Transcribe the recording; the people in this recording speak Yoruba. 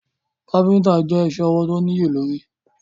Káfíntà je isẹ́ ọwọ̀ tó níye lórí.